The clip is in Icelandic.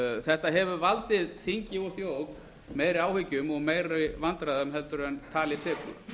þetta hefur valdið þingi og þjóð meiri áhyggjum og meiri vandræðum heldur en tali tekur